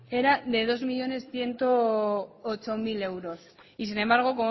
era de dos millónes ciento ocho mil euros y sin embargo